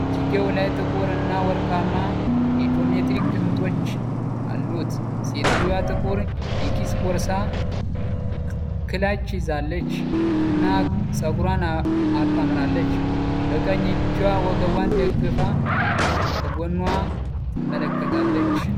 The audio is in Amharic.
እጅጌው ላይ ጥቁር እና ወርቃማ የጂኦሜትሪክ ቅጦች አሉት። ሴትየዋ ጥቁር የኪስ ቦርሳ (ክላች) ይዛለች እና ፀጉሯን አጣምራለች። በቀኝ እጇ ወገቧን ደግፋ ከጎንዋ ትመለከታለች።